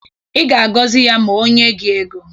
Ị ga-agọzi ya ma o nye gị ego.